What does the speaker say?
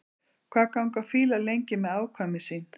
Hvað ganga fílar lengi með afkvæmi sín?